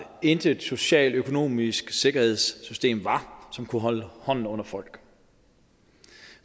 intet socialøkonomisk sikkerhedssystem var som kunne holde hånden under folk